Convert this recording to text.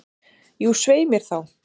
Jú, svei mér þá.